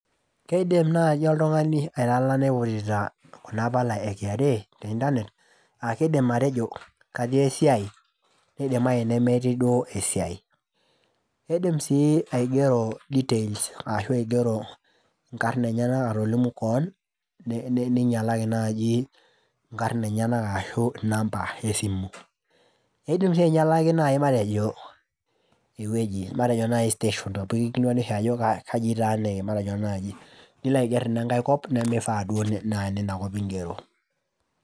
Keidim naji oltungani aitalana eiputita kuna pala e kra te internet , aa kidim atejo katii esiai nidimayu nemetii duoo esiai. Idim sii aigero details ashu aigero nkarn enyenak atolimu kewon , ninyialaki naji nkarna enyanak ashu inamba esimu. Idim sii nai ainyialaki matejo ewueji nai station amu ekilikwani oshi kaji itaaniki naji , nilo aiger inenkae kop nemifaa duo paa inena kop ingero.